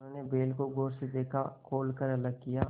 उन्होंने बैल को गौर से देखा खोल कर अलग किया